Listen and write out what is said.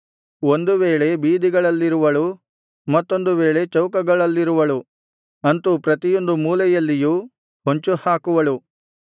ಒಂದು ವೇಳೆ ಬೀದಿಗಳಲ್ಲಿರುವಳು ಮತ್ತೊಂದು ವೇಳೆ ಚೌಕಗಳಲ್ಲಿರುವಳು ಅಂತು ಪ್ರತಿಯೊಂದು ಮೂಲೆಯಲ್ಲಿಯೂ ಹೊಂಚು ಹಾಕುವಳು